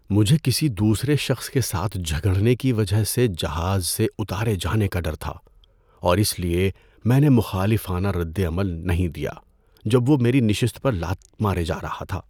مجھے کسی دوسرے شخص کے ساتھ جھگڑنے کی وجہ سے جہاز سے اتارے جانے کا ڈر تھا اور اس لیے میں نے مخالفانہ ردعمل نہیں دیا جب وہ میری نشست پر لات مارے جا رہا تھا۔